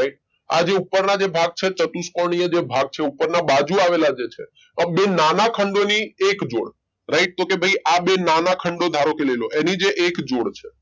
Right આ જો ઉપર ના જે ભાગ છે ચતુષ્કોણ છે જે ભાગ ઉપર ના બાજુ આવેલા જે છે આ બે નાના ખંડો ની એક જોડ રાઈટ તો કે ભઈ આ બે નાના ખંડો ધારોકે લઈલો એની જે એક જોડ છે.